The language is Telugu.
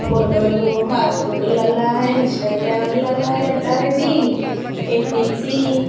ఫోటో లు ఫేస్బుక్లో ఇంస్టాగ్రామ్ లో ఎడతారు అండి. ఏటేసి --